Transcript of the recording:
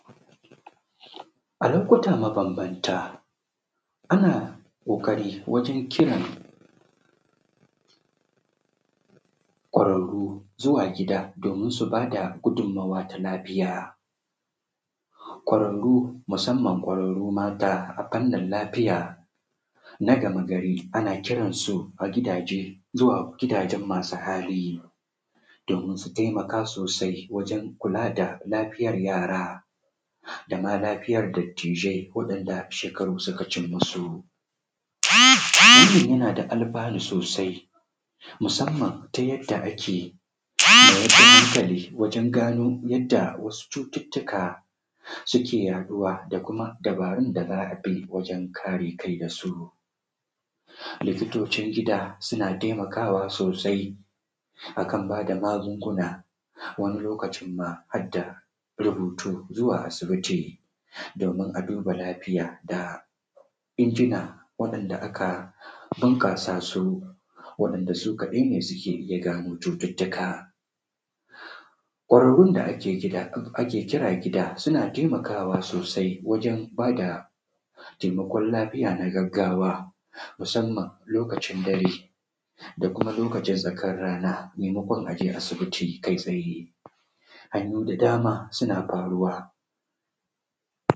A lokuta mabambanta ana ƙoƙarin kiran ƙwararru zuwa gida domin su ba da gudunmawa ta lafiya ƙwararru musamman ƙwararru mata a fannin lafiya na game gari ana kira su a gidaje zuwa gidajen masu hali domin su taimaka sosai wajen kula da lafiyar yara da ma Lafiya dattijai waɗanda shekaru suka cin musu. Hakan yana da alfanu sosai musamman ta yadda ake ma wasu mutane wajen gano wasu cututtuka suke yaɗuwa da kuma dabarun da ake bi wajen kare kai da su likitocin gida suna taimakawa sosai a kan ba da magunguna wani lokacin ma har da rubutu zuwa asibitin domin a duba lafiyar da injina waɗanda aka bunƙasa su waɗanda su kadai ne suke iya gano cututtukan .Ƙwararru da ake kira gida suna taimakawa sosai wajen ba da taimakon lafiya na gaggawa musamman lokacin dare ko lokacin da tsakar rana maimakon a je asibiti kai tsaye hanyoyi da dama suna faruwa.